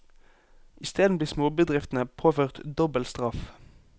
Isteden blir småbedriftene påført dobbel straff.